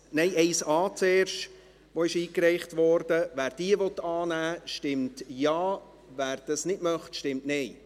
Wer diese annehmen will, stimmt Ja, wer dies nicht möchte, stimmt Nein.